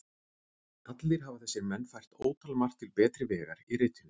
Allir hafa þessir menn fært ótalmargt til betri vegar í ritinu.